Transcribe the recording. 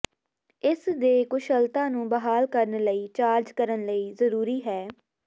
ਇਸ ਦੇ ਕੁਸ਼ਲਤਾ ਨੂੰ ਬਹਾਲ ਕਰਨ ਲਈ ਚਾਰਜ ਕਰਨ ਲਈ ਜ਼ਰੂਰੀ ਹੈ